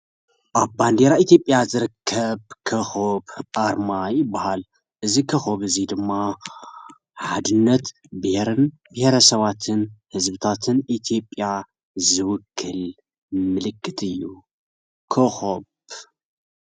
ኣብ ባንዴራ ኢትዮጵያ ዝርከብ ኮኸብ ኣርማ ይበሃል፡፡ እዚ ኮኸብ እዚ ድማ ሓድነት ብሄርን ብሄረ ሰባትን ህዝብታትን ኢትዮጵያ ዝውክል ምልክት እዩ፡፡ ኮኸብ ?